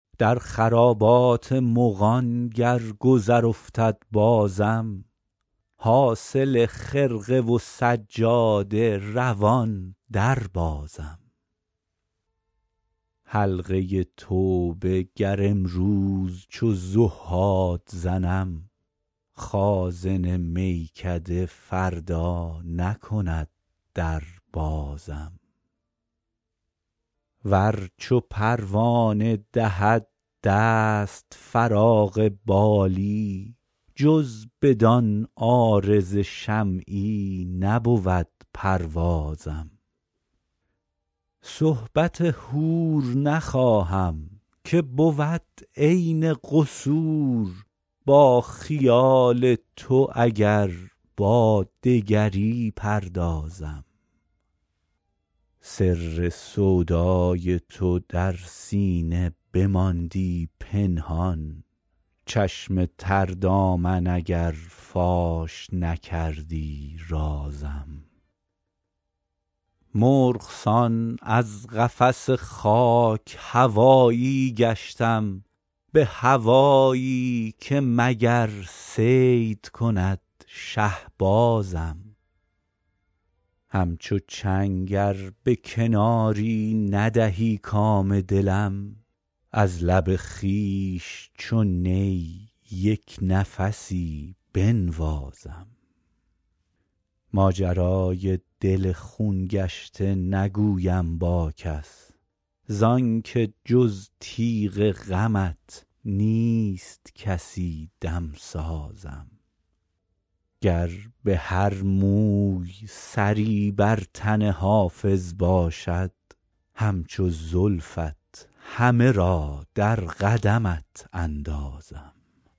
در خرابات مغان گر گذر افتد بازم حاصل خرقه و سجاده روان دربازم حلقه توبه گر امروز چو زهاد زنم خازن میکده فردا نکند در بازم ور چو پروانه دهد دست فراغ بالی جز بدان عارض شمعی نبود پروازم صحبت حور نخواهم که بود عین قصور با خیال تو اگر با دگری پردازم سر سودای تو در سینه بماندی پنهان چشم تر دامن اگر فاش نکردی رازم مرغ سان از قفس خاک هوایی گشتم به هوایی که مگر صید کند شهبازم همچو چنگ ار به کناری ندهی کام دلم از لب خویش چو نی یک نفسی بنوازم ماجرای دل خون گشته نگویم با کس زان که جز تیغ غمت نیست کسی دمسازم گر به هر موی سری بر تن حافظ باشد همچو زلفت همه را در قدمت اندازم